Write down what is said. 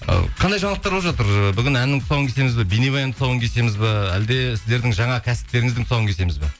ы қандай жаңалықтар болып жатыр ыыы бүгін әннің тұсауын кесеміз бе бейнебаянның тұсауын кесеміз бе әлде сіздердің жаңа кәсіптеріңіздің тұсауын кесеміз бе